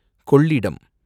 Kollidam